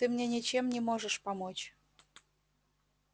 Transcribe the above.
ты мне ничем не можешь помочь